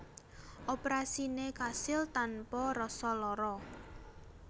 Operasine kasil tanpa rasa lara